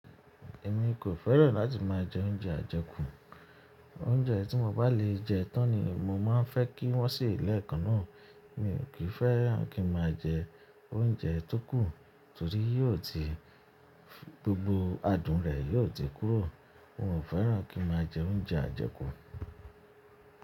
Èmi kò fẹ́ràn láti máa jẹ oúnjẹ ajẹkù. Oúnjẹ tí mo bá lè jẹ tán ni mo máa ń fẹ́ kí wọ́n sì lẹ́ẹ̀kan náà. Mi ò kí fẹ́ràn kí n máa jẹ oúnjẹ tó kù torí yóò ti gbogbo adùn rẹ̀ yóò ti kúrò. Mo ò fẹ́ràn kí n máa jẹ oúnjẹ ajẹkù.